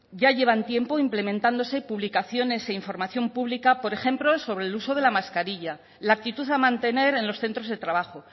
ya llevan tiempo implementándose publicaciones e información pública por ejemplo sobre el uso de la mascarilla la actitud a mantener en los centros de trabajo